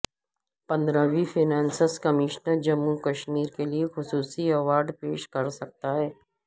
پندرویں finance commission Jammu Kashmir کے لئے خصوصی ایوارڈپیش کرسکتا ہے